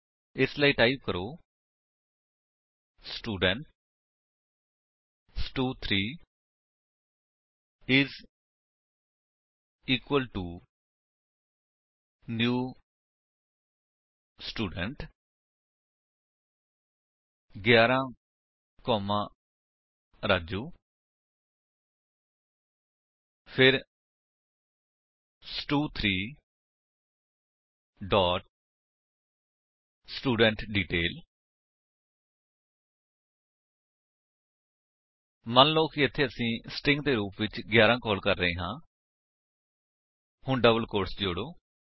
ਇਸ ਲਈ ਟਾਈਪ ਕਰੋ ਸਟੂਡੈਂਟ ਸਟੂ3 is equal to new student 11 comma Raju ਫਿਰ ਸਟੂ3 ਡੋਟ ਸਟੂਡੈਂਟਡੀਟੇਲ ਮੰਨਲੋ ਕਿ ਇੱਥੇ ਅਸੀ ਸਟ੍ਰਿੰਗ ਦੇ ਰੂਪ ਵਿੱਚ 11 ਕਾਲ ਕਰ ਰਹੇ ਹਾਂ ਹੁਣ ਡਬਲ ਕੋਟਸ ਜੋੜੋ